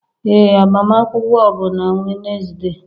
Ee agbamakwụkwọ bụ na Wednesday.